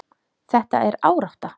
Þetta er árátta.